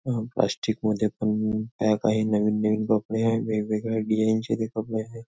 अ plastic मध्ये पण pack आहे नवीन नवीन कपडे आहे वेगवेगळ्या डिझाईन चे ते कपडे आहे.